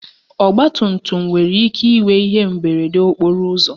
Ọgbatumtum nwere ike inwe ihe mberede okporo ụzọ